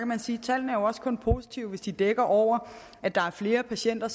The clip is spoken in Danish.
man sige at tallene jo også kun er positive hvis de dækker over at der er flere patienter